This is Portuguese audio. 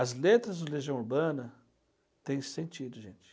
As letras de Legião Urbana têm sentido, gente.